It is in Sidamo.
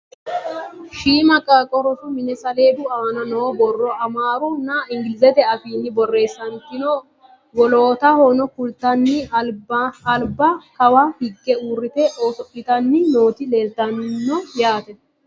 Shiimma qaaqqo rosu minne saleedu aanna noo borro Amaru nna englizete afiinni borreessanitinno. wollotahonno kulittanni alibba kawa hiige uuritte oso'littanni nootti leelittanno yaatte